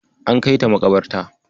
An kaita maƙabarta.